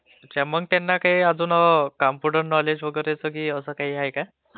त्यांना अजून काही काम्प्युटर नॉलेज असं काही आहे काय......